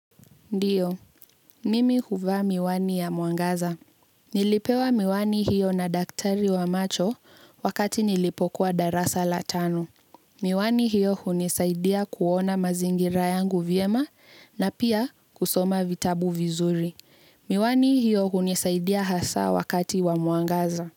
Ndiyo, mimi huvaa miwani ya mwangaza. Nilipewa miwani hiyo na daktari wa macho wakati nilipokuwa darasa la tano. Miwani hiyo hunisaidia kuona mazingira yangu vyema na pia kusoma vitabu vizuri. Miwani hiyo hunisaidia hasa wakati wa muangaza.